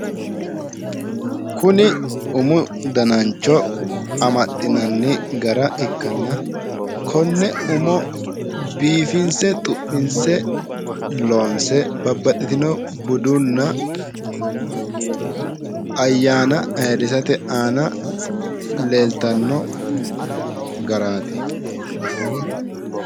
Kuni umu danancho amaxxinanni gara ikkanna konne umo biifinse xu'minse loonse babbaxxitino budunna ayyaana ayyrsate aana leeltanno garaati.